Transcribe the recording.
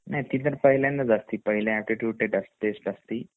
नाही ती तर पहिल्यांदाच असते एप्टिट्यूड टेस्ट असते